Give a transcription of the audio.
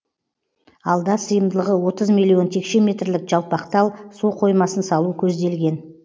алда сыйымдылығы отыз миллион текше метрлік жалпақтал су қоймасын салу көзделген